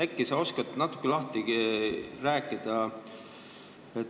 Äkki sa oskad natuke lahti rääkida.